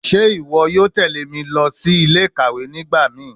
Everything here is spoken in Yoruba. Ṣe iwọ yoo tẹle mi si ile-ikawe nigbamii?